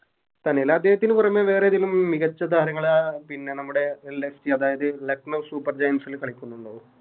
തന്നെലെ അദ്ദേഹത്തിന് പുറമെ വേറെതേലു മികച്ച താരങ്ങളാ പിന്നെ നമ്മുടെ LSG അതായത് Lucknow super giants ല് കളിക്കുന്നുണ്ടോ